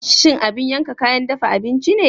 Shin abin yanka kayan dafa abinci ne?